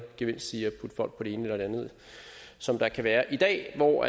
gevinst i at putte folk på det ene eller andet som der kan være i dag hvor